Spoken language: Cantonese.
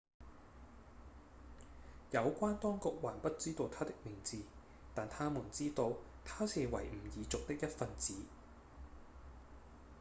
有關當局還不知道他的名字但他們知道他是維吾爾族的一份子